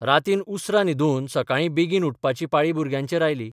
रातीन उसरा न्हिदून सकाळीं बेगीन उठपाची पाळी भुरग्यांचेर आयली.